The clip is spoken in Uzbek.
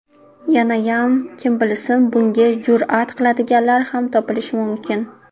Yanayam kim bilsin, bunga jur’at qiladiganlar ham topilishi mumkin.